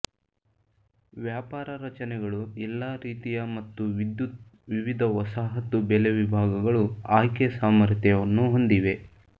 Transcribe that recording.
ವ್ಯಾಪಾರ ರಚನೆಗಳು ಎಲ್ಲಾ ರೀತಿಯ ಮತ್ತು ವಿದ್ಯುತ್ ವಿವಿಧ ವಸಾಹತು ಬೆಲೆ ವಿಭಾಗಗಳು ಆಯ್ಕೆ ಸಾಮರ್ಥ್ಯವನ್ನು ಹೊಂದಿವೆ